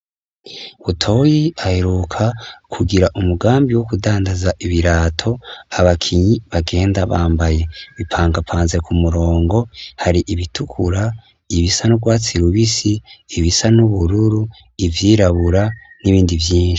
Butoyi, aheruka kugira umugambi wo kudandaza ibirato abakinyi bagenda bambaye, bipangapanze ku murongo, har'ibitukura, ibisa n'urwatsi rubisi, ibisa n'ubururu, ivyirabura n'ibindi vyinshi.